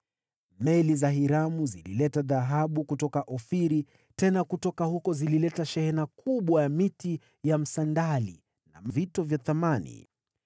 (Meli za Hiramu zilileta dhahabu kutoka Ofiri; tena kutoka huko zilileta shehena kubwa ya miti ya msandali na vito vya thamani.